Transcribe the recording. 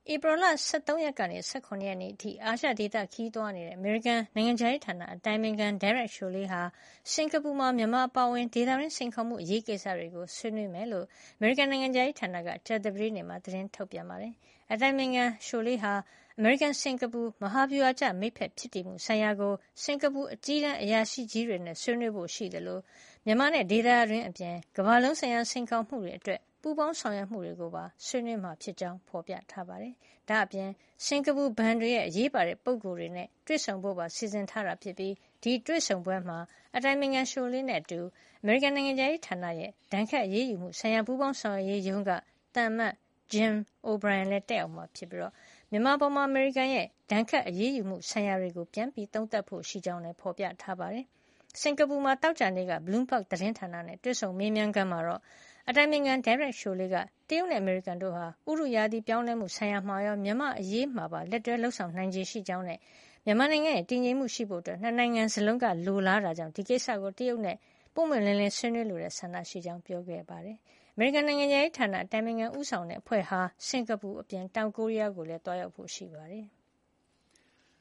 ဧပြီလ ၁၃ ရက်ကနေ ၁၇ ရက်နေ့အထိ အာရှဒေသခရီး သွားရောက်မယ့် အမေရိကန်နိုင်ငံခြားရေးဌာန အတိုင်ပင်ခံ Derek Chollet ဟာ စင်္ကာပူမှာ မြန်မာအပါအဝင် ဒေသတွင်း စိန်ခေါ်မှုအရေးကိစ္စတွေကို ဆွေးနွေးမှာဖြစ်ကြောင်း အမေရိကန်နိုင်ငံခြားရေးဌာနက ကြာသပတေးနေ့မှာ သတင်းထုတ်ပြန်ပါတယ်။ အတိုင်ပင်ခံ Chollet ဟာ အမေရိကန်-စင်္ကာပူ မဟာဗျူဟာကျ မိတ်ဖက်ဖြစ်တည်မှုဆိုင်ရာကို စင်္ကာပူအကြီးတန်း အရာရှိကြီးတွေနဲ့ ဆွေးနွေးဖို့ရှိသလို မြန်မာနဲ့ ဒေသတွင်းအပြင် ကမ္ဘာလုံးဆိုင်ရာ စိန်ခေါ်မှုတွေအတွက် ပူးပေါင်းဆောင်ရွက်မှုတွေကိုပါ ဆွေးနွေးမှာဖြစ်ကြောင်း ဖေါ်ပြထားပါတယ်။ ဒါ့အပြင် စင်္ကာပူဘဏ်တွေရဲ့ အရေးပါတဲ့ပုဂ္ဂိုလ်တွေနဲ့ တွေ့ဆုံဖို့ပါ စီစဉ်ထားပါတယ်။ ဒီတွေ့ဆုံပွဲမှာ အတိုင်ပင်ခံ Chollet နဲ့အတူ အမေရိကန်နိုင်ငံခြားရေးဌာနရဲ့ ဒဏ်ခတ်အရေးယူမှုဆိုင်ရာ ပူးပေါင်းဆောင်ရွက်ရေးရုံးက သံအမတ် Jim O’Brien လည်း တက်ရောက်မှာ ဖြစ်ပြီး မြန်မာအပေါ် အမေရိကန်ရဲ့ ဒဏ်ခတ်အရေးယူမှု ဆိုင်ရာတွေကို ပြန်လည်သုံးသပ်ဖို့ ရှိကြောင်းလည်း ဖေါ်ပြထားပါတယ်။ စင်္ကာပူနိုင်ငံမှာ သောကြာနေ့ Bloomberg သတင်းဌာနရဲ့တွေ့ဆုံမေးမြန်းခန်းမှာတော့ အတိုင်ပင်ခံ Derek Chollet က တရုတ်နဲ့ အမေရိကန်တို့ဟာ ဥတုရာသီပြောင်းလဲမှု ဆိုင်ရာမှာရော မြန်မာအရေးမှာပါ လက်တွဲလုပ်ဆောင် နိုင်ခြေရှိကြောင်းနဲ့ မြန်မာနိုင်ငံ တည်ငြိမ်မှုရှိဖို့ ၂ နိုင်ငံစလုံးက လိုလားတဲ့အတွက် ဒီကိစ္စကို တရုတ်နဲ့ ပွင့်ပွင့်လင်းလင်း ဆွေးနွေးလိုတဲ့ ဆန္ဒရှိကြောင်း ပြောပါတယ်။ အမေရိကန်နိုင်ငံခြားရေးဌာန အတိုင်ပင်ခံ ဦးဆောင်တဲ့အဖွဲ့ဟာ စင်္ကာပူအပြင် တောင်ကိုရီးယားကိုလည်း သွားရောက်ဖို့ရှိပါတယ်။